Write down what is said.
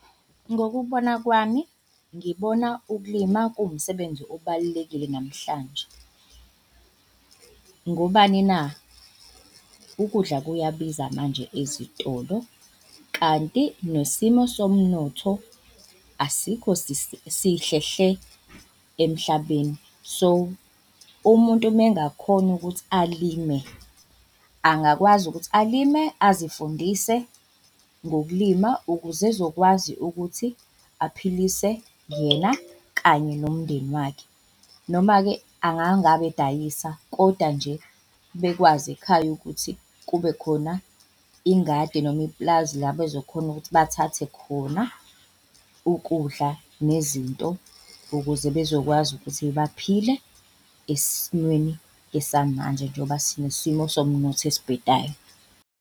Ngokubona kwami, ngibona ukulima kuwumsebenzi obalulekile namhlanje. Ngobani na? Ukudla kuyabiza manje ezitolo kanti nesimo somnotho asikho sihle hle emhlabeni. So umuntu mengakhona ukuthi alime, angakwazi ukuthi alime azifundise ngokulima ukuze ezokwazi ukuthi aphilise yena kanye nomndeni wakhe. Noma-ke angangabe edayisa, koda nje bekwazi ekhaya ukuthi kube khona ingadi noma ipulazi la bezokhona ukuthi bathathe khona ukudla nezinto ukuze bezokwazi ukuthi baphile esimweni esamanje njengoba sinesimo somnotho esibhedayo.